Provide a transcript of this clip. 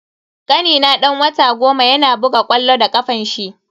Kanina dan wata goma yana buga ƙwallo da kafanshi.